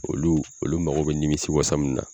Olu olu mago bɛ nimisiwasa min na